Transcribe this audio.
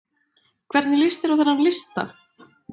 Hvernig lýst þér á þennan lista?